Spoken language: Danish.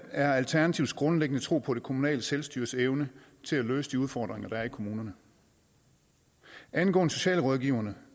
er alternativets grundlæggende tro på det kommunale selvstyres evne til at løse de udfordringer der er i kommunerne angående socialrådgiverne